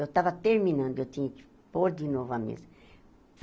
Eu estava terminando e eu tinha que pôr de novo a mesa.